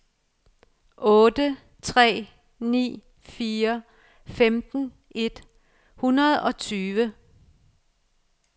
otte tre ni fire femten et hundrede og tyve